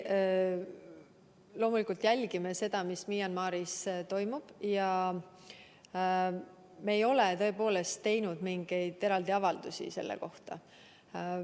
Loomulikult me jälgime seda, mis Myanmaris toimub, aga me tõepoolest ei ole teinud mingeid eraldi avaldusi selle kohta.